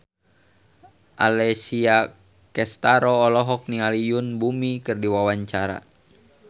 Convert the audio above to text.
Alessia Cestaro olohok ningali Yoon Bomi keur diwawancara